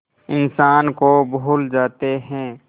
इंसान को भूल जाते हैं